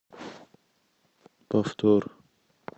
повтор